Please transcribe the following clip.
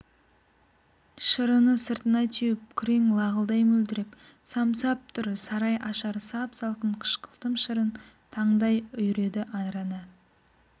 шырыны сыртына теуіп күрең лағылдай мөлдіреп самсап тұр сарай ашар сап-салқын қышқылтым шырын таңдай үйреді араны